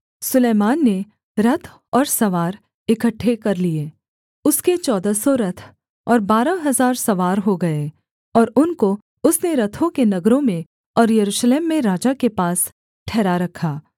सुलैमान ने रथ और सवार इकट्ठे कर लिए उसके चौदह सौ रथ और बारह हजार सवार हो गए और उनको उसने रथों के नगरों में और यरूशलेम में राजा के पास ठहरा रखा